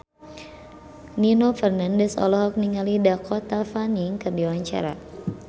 Nino Fernandez olohok ningali Dakota Fanning keur diwawancara